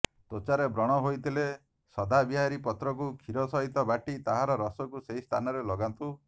ତ୍ୱଚାରେ ବ୍ରଣ ହୋଇଥିଲେ ସଦାବିହାରୀ ପତ୍ରକୁ କ୍ଷୀର ସହିତ ବାଟି ତାହାର ରସକୁ ସେହି ସ୍ଥାନରେ ଲଗାନ୍ତୁ